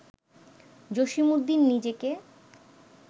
জসীমউদ্দীন নিজেকে